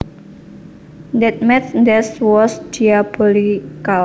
That math test was diabolical